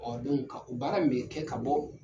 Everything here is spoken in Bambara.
Ɔɔ ka o baara mun be kɛ ka bɔ